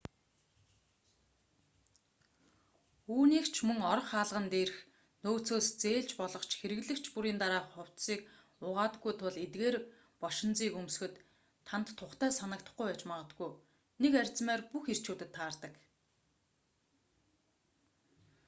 үүнийг ч мөн орох хаалган дээрх нөөцөөс зээлж болох ч хэрэглэгч бүрийн дараа хувцсыг угаадаггүй тул эдгээр бошинзыг өмсөхөд танд тухтай санагдахгүй байж магадгүй нэг размер бүх эрчүүдэд таардаг